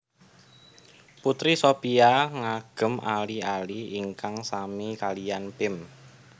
Putri Shopia ngagem ali ali ingkang sami kaliyan Pim